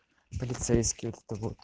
полицейский вот это вот